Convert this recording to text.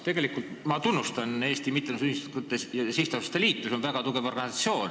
Tegelikult ma tunnustan Eesti Mittetulundusühingute ja Sihtasutuste Liitu, see on väga tugev organisatsioon.